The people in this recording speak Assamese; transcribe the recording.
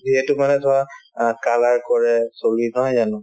যিহেতু মানে চোৱা অ colour কৰে চুলিত নহয় জানো